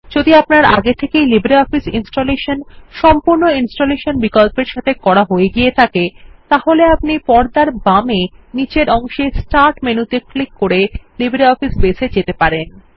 যদি আপনার আগে থেকেই লিব্রিঅফিস ইনস্টলেশন সম্পূর্ণ ইনস্টলেশন বিকল্পের সাথে করা হয়ে গিয়ে থাকে তাহলে আপনি পর্দার বামে নীচের অংশে স্টার্ট মেনুতে ক্লিক করে লিব্রিঅফিস বেস এ যেতে পারেন